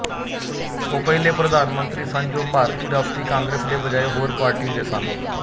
ਉਹ ਪਹਿਲੇ ਪ੍ਰਧਾਨਮੰਤਰੀ ਸਨ ਜੋ ਭਾਰਤੀ ਰਾਸ਼ਟਰੀ ਕਾਂਗਰਸ ਦੇ ਬਜਾਏ ਹੋਰ ਪਾਰਟੀ ਦੇ ਸਨ